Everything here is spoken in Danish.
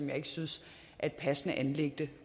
jeg ikke synes er et passende anliggende